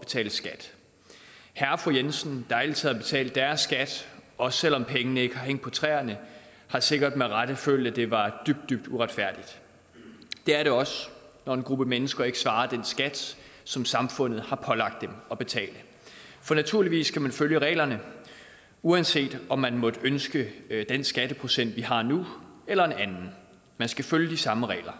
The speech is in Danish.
betale skat herre og fru jensen der altid har betalt deres skat også selv om pengene ikke har hængt på træerne har sikkert med rette følt at det var dybt dybt uretfærdigt det er det også når en gruppe mennesker ikke svarer den skat som samfundet har pålagt dem at betale for naturligvis skal man følge reglerne uanset om man måtte ønske den skatteprocent vi har nu eller en anden man skal følge de samme regler